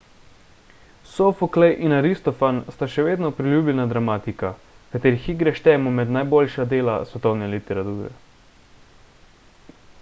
sofoklej in aristofan sta še vedno priljubljena dramatika katerih igre štejemo med najboljša dela svetovne literature